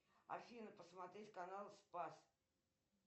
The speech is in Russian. афина посмотреть канал спас